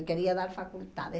Eu queria dar faculdade.